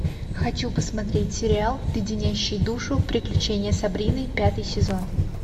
хочу посмотреть сериал леденящие душу приключения сабрины пятый сезон